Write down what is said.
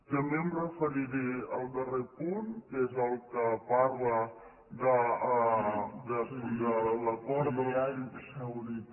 també em referiré al darrer punt que és el que parla de l’acord